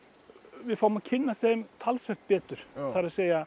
við fáum að kynnast þeim talsvert betur það er